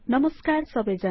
नमस्कार सबैजनालाई160